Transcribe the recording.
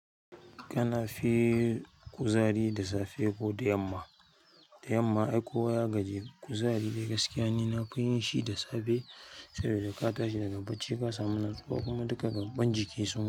Kana fi kuzari da safe ko da yamma? Da yamma ai kowa ya gaji kuzari dai gaskiya ni na fi yin shi da safe. Sabida ka tashi daga bacci ka samu natsuwa kuma duka gaban jiki sun.